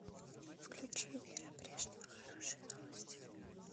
включи вера брежнева хорошие новости